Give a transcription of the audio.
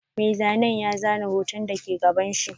Mai zanen ya zana hoton da ke gabanshi.